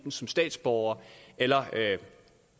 som statsborgere eller